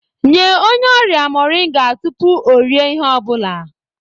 Nye onye ọrịa moringa tupu o rie ihe ọ bụla